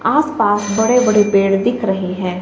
आसपास बड़े बड़े पेड़ दिख रहे हैं।